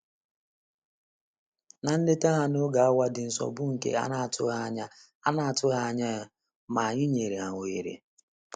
Na nleta ha n'oge awa dị nsọ bụ nke a na-atụghị a na-atụghị anya ya, ma anyị nyere ha ohere.